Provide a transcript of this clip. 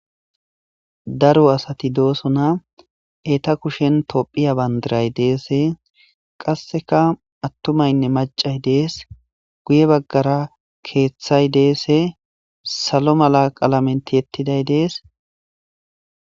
Daro asati doosona eta kushen tophiya bandiray deese qasseka attumaynne macay dees guye baggara keeththay deese salo mala qalamenti yettiday dees